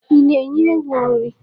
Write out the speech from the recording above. I na-enye ewu nri?